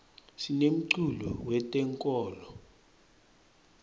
sinemculo we tenkolo